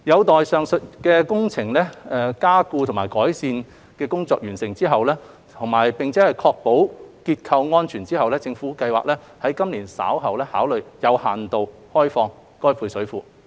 待完成上述所需的加固及改善工程，並確保結構安全後，政府計劃於今年稍後考慮有限度開放配水庫。